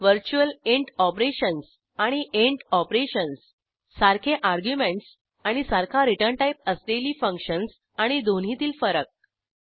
virtual int operations आणि int operations सारखे arguments आणि सारखा रिटर्न टाईप असलेली फंक्शन्स आणि दोन्हीतील फरक